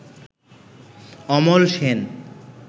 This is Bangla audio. অমল সেন